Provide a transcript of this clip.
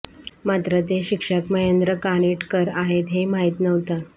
मात्र ते शिक्षक महेंद्र कानिटकर आहेत हे माहित नव्हतं